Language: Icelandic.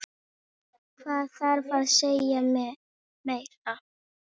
Hvað þarf að segja meira?